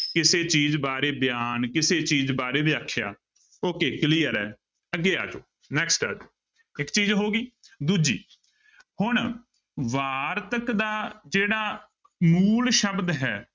ਕਿਸੇ ਚੀਜ਼ ਬਾਰੇ ਬਿਆਨ, ਕਿਸੇ ਚੀਜ਼ ਬਾਰੇ ਵਿਆਖਿਆ okay clear ਹੈ ਅੱਗੇ ਆ ਜਾਓ next ਇੱਕ ਚੀਜ਼ ਹੋ ਗਈ ਦੂਜੀ ਹੁਣ ਵਾਰਤਕ ਦਾ ਜਿਹੜਾ ਮੂਲ ਸ਼ਬਦ ਹੈ